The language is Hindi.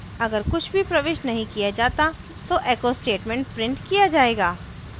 अगर कुछ भी प्रविष्ट नहीं किया जाता तो echo statement printed किया जायेगा